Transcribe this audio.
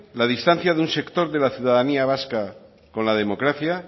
la distancia de un sector de la ciudadanía vasca con la democracia